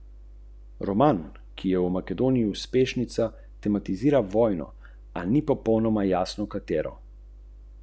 Ker so kavne usedline abrazivne, jih lahko uničijo.